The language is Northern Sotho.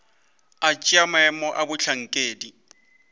go tšea maemo a bohlankedi